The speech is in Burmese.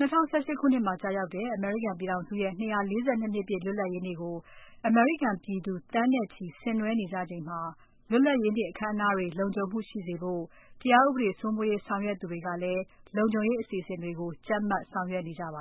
၂၀၁၈ ခုနှစ်မှာကျရောက်တဲ့ အမေရိကန်ပြည်ထောင်စုရဲ့ 242 နှစ်ပြည့် လွတ်လပ်ရေးနေ့ကို အမေရိကန်ပြည်သူ သန်းနဲ့ချီ ဆင်နွဲကြချိန်မှာ လွတ်လပ်ရေးနေ့ အခမ်းအနားတွေ လုံခြုံမှုရှိရေးအတွက် တရားဥပဒေစိုးမိုးရေးဆောင်ရွက်သူတွေကလည်း လုံခြုံရေးအစီအစဉ်တွေကို ကြပ်မတ်ဆောင်ရွက်နေကြပါ